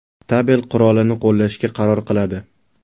tabel qurolini qo‘llashga qaror qiladi.